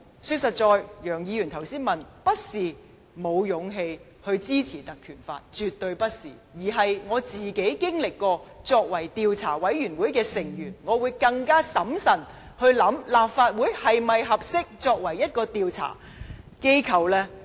說實在，楊議員剛才問我們是否沒有勇氣支持《立法會條例》，絕對不是，而是我曾經擔任調查委員會的成員，我會更審慎考慮立法會是否合適作為調查的機構呢。